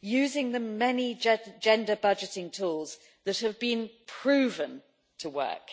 using the many gender budgeting tools that have been proven to work.